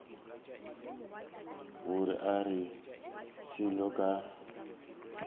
ga o re selo ka